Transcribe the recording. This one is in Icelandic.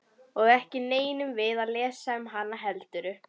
Og ekki nennum við að lesa um hana heldur?